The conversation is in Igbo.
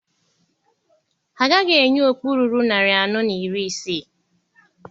Ha agaghị enye okpu ruru narị anọ na iri isii.